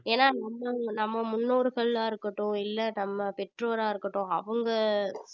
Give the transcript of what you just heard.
ஏன்னா நம்ம முன்னோர்களா இருக்கட்டும் இல்லை நம்ம பெற்றோரா இருக்கட்டும் அவங்க